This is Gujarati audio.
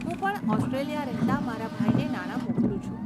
હું પણ ઓસ્ટ્રેલિયા રહેતાં મારા ભાઈને નાણા મોકલું છું.